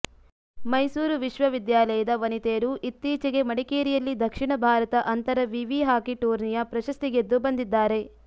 ಮೈಸೂರು ವಿಶ್ವವಿದ್ಯಾಲಯದ ವನಿತೆಯರು ಇತ್ತೀಚೆಗೆ ಮಡಿಕೇರಿಯಲ್ಲಿ ದಕ್ಷಿಣ ಭಾರತ ಅಂತರ ವಿವಿ ಹಾಕಿ ಟೂರ್ನಿಯ ಪ್ರಶಸ್ತಿ ಗೆದ್ದು ಬಂದಿದ್ದಾರೆ